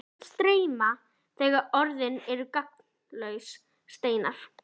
Tárin streyma fram þegar orðin eru gagnslausir steinar.